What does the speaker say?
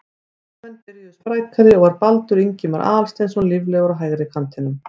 Heimamenn byrjuðu sprækari og var Baldur Ingimar Aðalsteinsson líflegur á hægri kantinum.